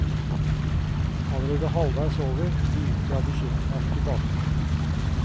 Allerede halvveis over, begynt jeg og bekymre meg for tilbake turen.